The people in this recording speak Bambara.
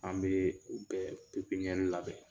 An bɛ bɛɛ pepiɲɛri labɛn.